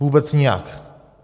Vůbec nijak.